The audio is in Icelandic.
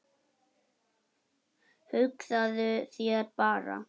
Hugsaðu þér bara!